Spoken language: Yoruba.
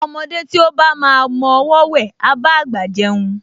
Ọmọdé tí ó bá máa mọ ọwọọ́ wẹ̀, á bá àgbà jẹun